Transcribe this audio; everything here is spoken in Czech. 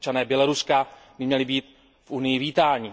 Občané Běloruska by měli být v Unii vítáni.